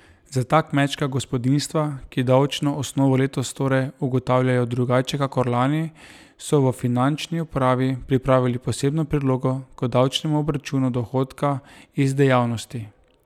Za ta kmečka gospodinjstva, ki davčno osnovo letos torej ugotavljajo drugače kakor lani, so v finančni upravi pripravili posebno prilogo k davčnemu obračunu dohodka iz dejavnosti.